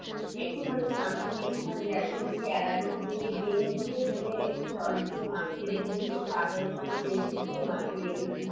একটু খানি something একটু খানি ব্যাসন দিবি এরারুট দিবি, ডিম দিয়ে দিয়ে একটু sauce দিয়ে মাখিয়ে রেখে দিবি, একটু আদা রসুন এর paste দিয়ে মাখিয়ে রেখে দিবি